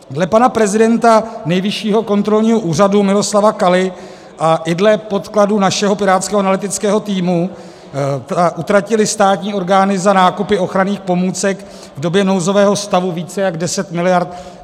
Dle pana prezidenta Nejvyššího kontrolního úřadu Miloslava Kaly a i dle podkladů našeho pirátského analytického týmu utratily státní orgány za nákupy ochranných pomůcek v době nouzového stavu více jak 10 miliard.